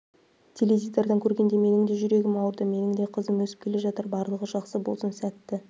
теледидардан көргенде менің де жүрегім ауырды менің де қызым өсім келе жатыр барлығы жақсы болсын сәтті